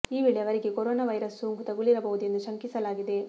ಈ ವೇಳೆ ಅವರಿಗೆ ಕೊರೋನಾ ವೈರಸ್ ಸೋಂಕು ತಗುಲಿರಬಹುದು ಎಂದು ಶಂಕಿಸಲಾಗಿದೆ